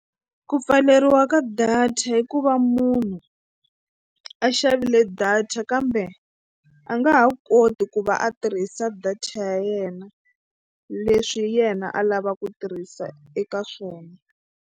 Ku pfaleriwa ka data i ku va munhu a xavile data kambe a nga ha koti ku va a tirhisa data ya yena leswi yena a lava ku tirhisa eka swona.